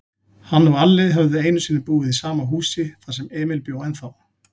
Hann og Alli höfðu einusinni búið í sama húsi, þar sem Emil bjó ennþá.